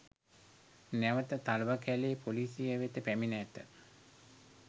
නැවත තලවකැලේ පොලිසිය වෙත පැමිණ ඇත